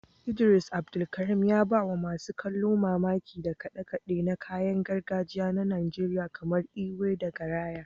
Idris Abdulkarim, ya ba wa masu kallo mamaki da kade-kade na kayan gargajiya na Najeriya kamar ekwe da garaya.